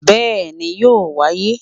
Bẹ́ẹ̀ni yóò wáyé